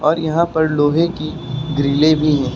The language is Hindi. और यहां पर लोहे की ग्रिले भी है।